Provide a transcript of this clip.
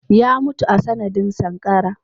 Ya mutu a sanadin sankara.